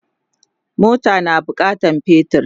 mota na bukatan petir